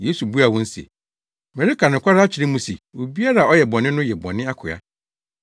Yesu buaa wɔn se, “Mereka nokware akyerɛ mo se obiara a ɔyɛ bɔne no yɛ bɔne akoa.